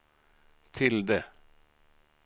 tilde